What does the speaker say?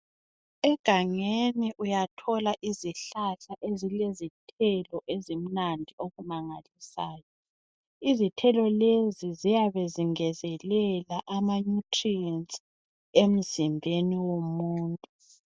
Egangeni uyathola izihlahla ezilezithelo ezimnandi okumangalisayo. Izithelo lezi ziyabe zingezelela ama nutrients emzimbeni womuntu.